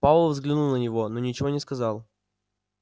пауэлл взглянул на него но ничего не сказал